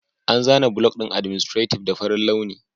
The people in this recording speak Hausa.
An zana block ɗin adminstative da farin launi